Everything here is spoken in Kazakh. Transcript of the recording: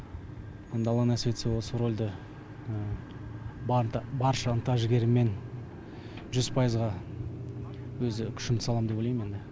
енді алла нәсіп етсе осы рольді барша ынта жігеріммен жүз пайызға өзі күшімді салам деп ойлайм енді